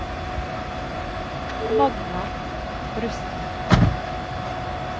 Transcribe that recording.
Magna Rusten